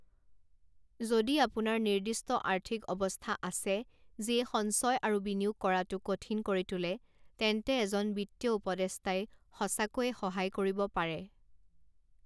যদি আপোনাৰ নিৰ্দিষ্ট আৰ্থিক অৱস্থা আছে যিয়ে সঞ্চয় আৰু বিনিয়োগ কৰাটো কঠিন কৰি তোলে, তেন্তে এজন বিত্তীয় উপদেষ্টাই সঁচাকৈয়ে সহায় কৰিব পাৰে।